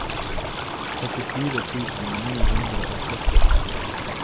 førtifire tusen ni hundre og sytti